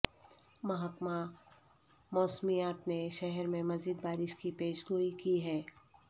محکمہ موسمیات نے شہر میں مزید بارش کی پیش گوئی کی ہے